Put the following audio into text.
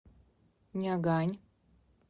нягань